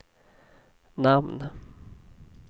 namn